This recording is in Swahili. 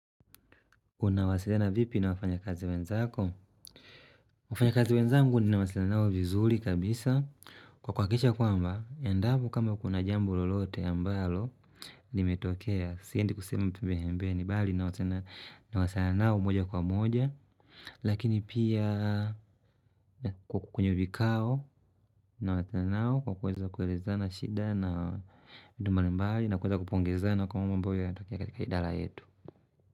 Unawasiliana vipi na wafanya kazi wenzako? Wafanyakazi wenzangu nawasiliana nao vizuri kabisa. Kwa kuhakikisha kwamba, endapo kama kuna jambo lolote ambalo limetokea. Siendi kusema tu mbehembeni bali nawasiliana nao moja kwa moja. Lakini pia kwenye vikao, nawasiliana nao kwa kuweza kwelezana shida na duma limbali na kuweza kupongezana kwa mambo yanatokea katika idara yetu.